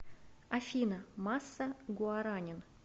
афина масса гуаранин